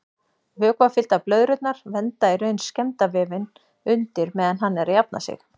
Vökvafylltar blöðrurnar vernda í raun skemmda vefinn undir meðan hann er að jafna sig.